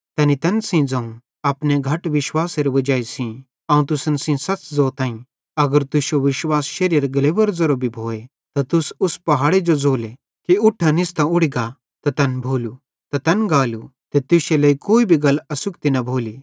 तैनी तैन सेइं ज़ोवं अपने घट विश्वासेरे वजाई सेइं अवं तुसन सेइं सच़ ज़ोताईं अगर तुश्शो विश्वास शेरीएरे ग्लेवे ज़ेतरो भी भोए त तुस उस पहाड़े जो ज़ोले कि इट्ठां निस्तां उड़ी गा त तैन गालू ते तुश्शे लेइ कोई भी गल असुखती न भोली